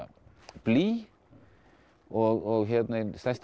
blý og ein stærsta